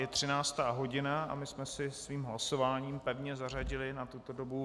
Je třináctá hodina a my jsme si svým hlasováním pevně zařadili na tuto dobu